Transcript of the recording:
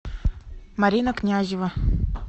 марина князева